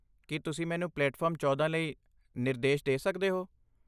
ਕੀ ਤੁਸੀਂ ਮੈਨੂੰ ਪਲੇਟਫਾਰਮ ਚੌਦਾਂ ਲਈ ਨਿਰਦੇਸ਼ਦੇ ਸਕਦੇ ਹੋ?